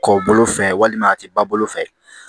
Kɔ bolo fɛ walima a tɛ ba bolo fɛ